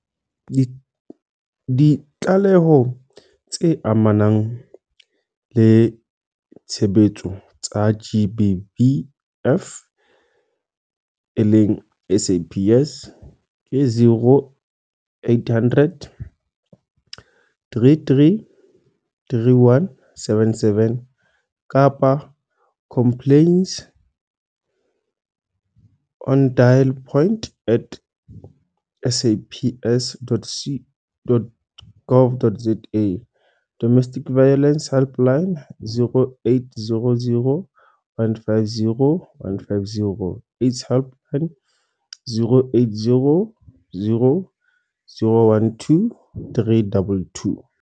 Ditlaleho tse amanang le tshebetso tsa GBVF, SAPS, 0800 333 177 complaintsnodalpoint at saps.gov.za Domestic Violence Helpline - 0800 150 150. AIDS Helpline - 0800 012 322.